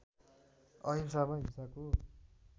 अहिंसामा हिंसाको